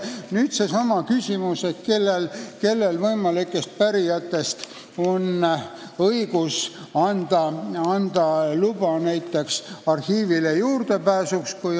Nüüd seesama küsimus, kellel võimalikest pärijatest on õigus anda luba näiteks arhiivile juurdepääsuks.